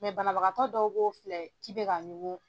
banabagatɔ dɔw b'o filɛ k'i bɛ ka ɲugun.